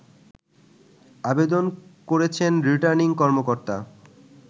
আবেদন করেছেন রিটার্নিং কর্মকর্তা